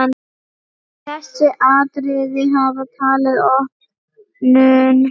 Þessi atriði hafi tafið opnun.